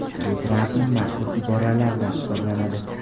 Bu Trampning mashhur iboralaridan hisoblanadi.